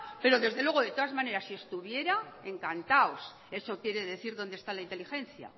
pero desde luego de todas maneras si estuviera encantados eso quiere decir dónde está la inteligencia